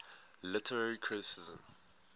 literary criticism